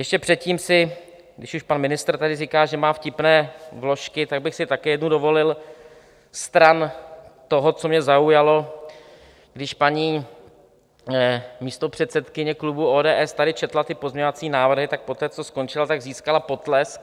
Ještě předtím si, když už pan ministr tady říká, že má vtipné vložky, tak bych si také jednu dovolil stran toho, co mě zaujalo, když paní místopředsedkyně klubu ODS tady četla ty pozměňovací návrhy, tak poté co skončila, tak získala potlesk.